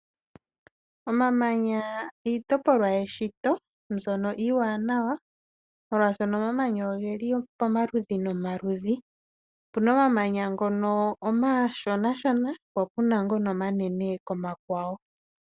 Omamanya iitopolwa yeshito mbyono iwanawa, molwashono omamanya ongeli pomaludhi nomaludhi, opuna omamanya ngono oma shonashona popuna ngono omanene komakwawo.